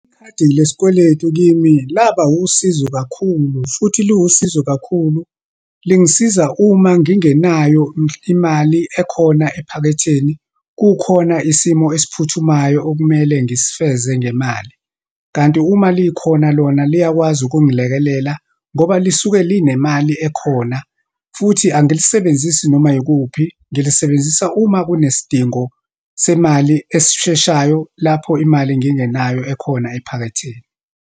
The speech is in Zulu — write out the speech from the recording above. Ikhadi lesikweletu kimi, laba usizo kakhulu, futhi liwusizo kakhulu. Lingisiza uma ngingenayo imali ekhona ephaketheni, kukhona isimo esiphuthumayo okumele ngisifeze ngemali. Kanti uma likhona lona, liyakwazi ukungilekelela ngoba lisuke linemali ekhona, futhi angilisebenzisi noma yikuphi, ngilisebenzisa uma kunesidingo semali esisheshayo, lapho imali ngingenayo ekhona ephaketheni.